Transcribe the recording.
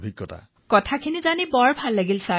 তৰন্নুম খানঃ হয় মহাশয় এই কথা জানি বহুত ভাল লাগিল